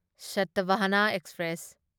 ꯁꯥꯇꯚꯥꯍꯅꯥ express